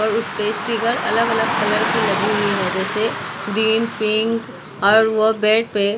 और उस पे स्टिकर अलग अलग कलर की लगी हुई है जैसे ग्रीन पिंक और वो बेट पे --